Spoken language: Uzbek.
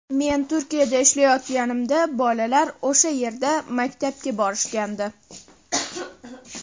Men Turkiyada ishlayotganimda, bolalar o‘sha yerda maktabga borishgandi.